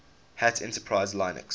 hat enterprise linux